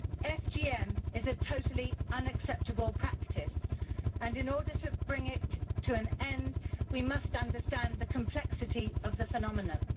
FGM is a totally unacceptable practice, and in order to bring it to an end we must understand the complexity of the phenomenon.